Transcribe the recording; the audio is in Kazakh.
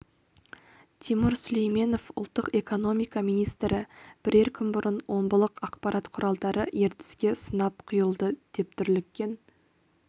тимур сүлейменов ұлттық экономика министрі бірер күн бұрын омбылық ақпарат құралдары ертіске сынап құйылды деп дүрліккен